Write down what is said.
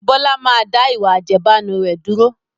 Bọlá máa da ìwà àjẹbánu rẹ̀ dúró